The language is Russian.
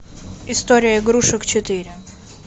история игрушек четыре